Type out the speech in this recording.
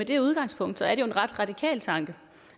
det udgangspunkt er det jo en ret radikal tanke